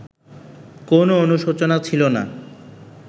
কোনো অনুশোচনা ছিল না